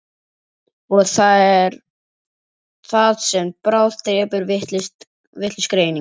Og það er það sem bráðdrepur, vitlaus greining.